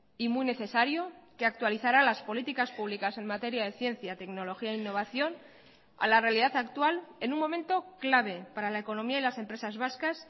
y muy necesario que actualizará las políticas públicas en materia de ciencia tecnología e innovación a la realidad actual en un momento clave para la economía y las empresas vascas